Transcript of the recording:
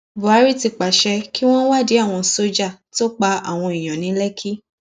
buhari ti pàṣẹ kí wọn wádìí àwọn sójà tó pa àwọn èèyàn ní lékì